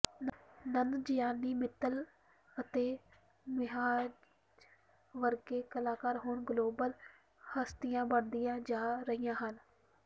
ਨਨਜਿਆਨੀ ਮਿੱਤਲ ਅਤੇ ਮਿਨਹਾਜ ਵਰਗੇ ਕਲਾਕਾਰ ਹੁਣ ਗਲੋਬਲ ਹਸਤੀਆਂ ਬਣਦੀਆਂ ਜਾ ਰਹੀਆਂ ਹਨ